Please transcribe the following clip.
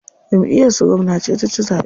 Jamʼiyar su gwamna ce ta ci zaɓe.